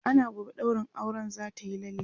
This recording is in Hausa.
ana gobe ɗaurin auren zatayi lalle